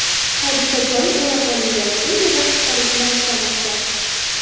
Hodisa joyi o‘rab olingan, u yerda qutqaruvchilar ishlamoqda.